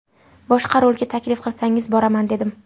Boshqa rolga taklif qilsangiz boraman, dedim.